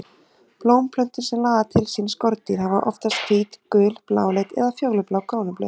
Blómplöntur sem laða til sín skordýr hafa oftast hvít, gul, bláleit eða fjólublá krónublöð.